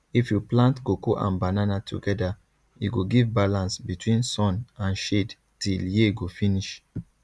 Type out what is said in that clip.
if you plant cocoa and banana together e go give balance between sun and shade till year go finish